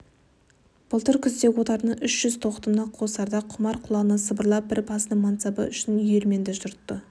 былтыр күзде отарына үш жүз тоқтыны қосарда құмар құлағына сыбырлап бір басының мансабы үшін үйелменді жұртты